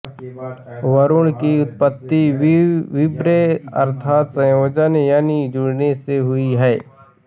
वरुण की उत्पत्ति व्रि अर्थात संयोजन यानि जुड़ने से हुई है